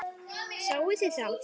Sáuð þið þá?